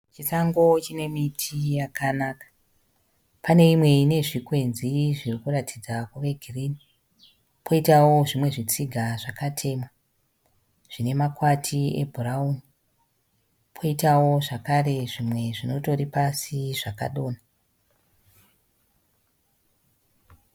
Chisango chine miti yakanaka. Pane imwe ine zvikwenzi zviri kuratidza kuve giririni kwoitawo zvimwe zvitsiga zvakatemwa zvine makwati ebhurauni, kwoitawo zvakare zvimwe zvinotori pasi zvakadonha.